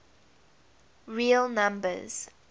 real numbers